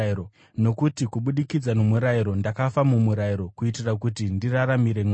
Nokuti kubudikidza nomurayiro ndakafa kumurayiro kuitira kuti ndiraramire Mwari.